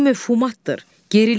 Bu məfhumatdır, gerilikdir.